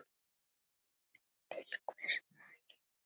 Til hvers að gifta sig?